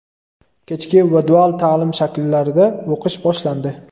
kechki va dual ta’lim shakllarida o‘qish boshlandi.